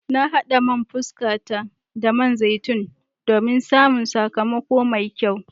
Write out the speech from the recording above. Na hada man fuskata da man zaitun domin samun sakamako mai kyau.